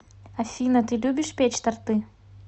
афина ты любишь печь торты